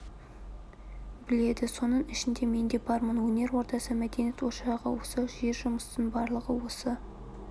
біледі соның ішінде мен де бармын өнер ордасы мәдениет ошағы осы жер жұмыстың барлығы осы